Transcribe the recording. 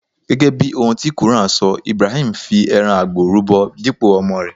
Gẹ́gẹ́ bí ohun ti quran sọ, Ibrahim fí ẹran àgbò rúbọ dípò ọmọ rè.